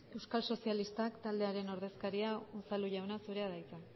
euskal sozialista taldearen ordezkaria unzalu jauna zurea da hitza